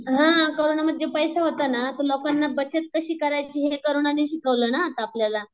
हां कोरोनामध्ये जे पैसा होता ना ते लोकांना बचत कशी करायची हे कोरोनाने शिकवलं ना आता आपल्याला.